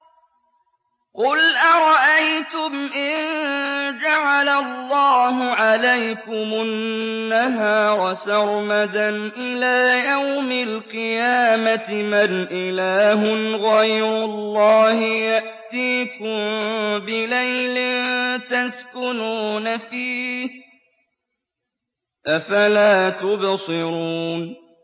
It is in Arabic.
قُلْ أَرَأَيْتُمْ إِن جَعَلَ اللَّهُ عَلَيْكُمُ النَّهَارَ سَرْمَدًا إِلَىٰ يَوْمِ الْقِيَامَةِ مَنْ إِلَٰهٌ غَيْرُ اللَّهِ يَأْتِيكُم بِلَيْلٍ تَسْكُنُونَ فِيهِ ۖ أَفَلَا تُبْصِرُونَ